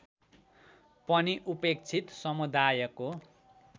पनि उपेक्षित समुदायको